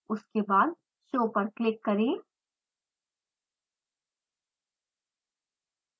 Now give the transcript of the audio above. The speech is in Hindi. उसके बाद show पर क्लिक करें